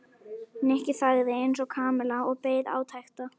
Nikki þagði eins og Kamilla og beið átekta.